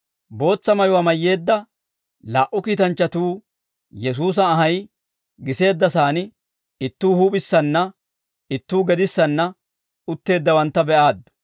Bootsa mayuwaa mayyeedda laa"u kiitanchchatuu Yesuusa anhay giseedda sa'aan ittuu huup'issanna ittuu gedissanna utteeddawantta be'aaddu.